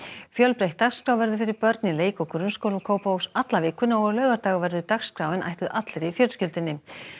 fjölbreytt dagskrá verður fyrir börn í leik og grunnskólum Kópavogs alla vikuna og á laugardag verður dagskráin ætluð allri fjölskyldunni